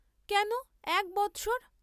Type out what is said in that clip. কেন এক বৎসর?